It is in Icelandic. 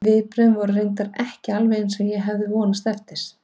Viðbrögðin voru reyndar ekki alveg eins og ég hafði vonast eftir.